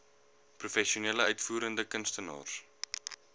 professionele uitvoerende kunstenaars